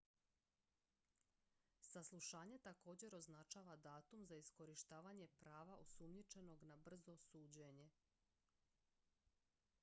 saslušanje također označava datum za iskorištavanje prava osumnjičenog na brzo suđenje